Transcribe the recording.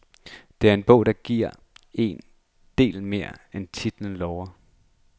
Det er en bog, der giver en del mere, end titlen lover.